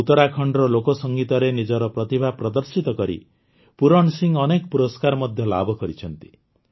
ଉତରାଖଣ୍ଡର ଲୋକସଙ୍ଗୀତରେ ନିଜର ପ୍ରତିଭା ପ୍ରଦର୍ଶିତ କରି ପୂରଣ ସିଂ ଅନେକ ପୁରସ୍କାର ମଧ୍ୟ ଲାଭ କରିଛନ୍ତି